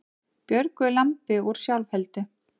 Björguðu lambi úr sjálfheldu